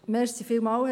Sie haben das Wort.